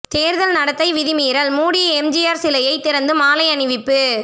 தேர்தல் நடத்தை விதிமீறல் மூடிய எம்ஜிஆர் சிலையை திறந்து மாலை அணிவிப்பு